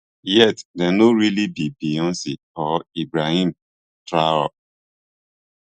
yet dem no really be beyonc or ibrahim traor